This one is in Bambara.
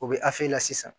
U bɛ la sisan